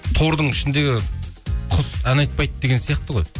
тордың ішінде құс ән айтпайды деген сияқты ғой